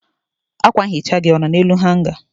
akwa nhicha gị ọ nọ n'elu hanga?